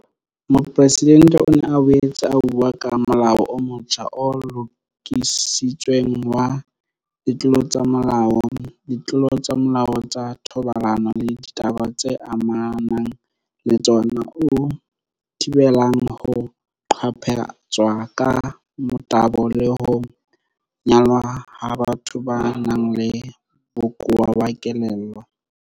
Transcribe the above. Mopresidente o ne a boetse a bua ka Molao o motjha o Lokisitsweng wa Ditlolo tsa Molao, Ditlolo tsa Molao tsa Thobalano le Ditaba tse Amanang le Tsona o thibelang ho qaphatswa ka motabo le ho nyalwa ha batho ba nang le bokowa ba kelello.